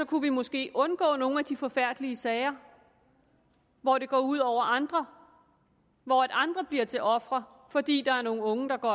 kunne vi måske undgå nogle af de forfærdelige sager hvor det går ud over andre hvor andre bliver til ofre fordi der er nogle unge der går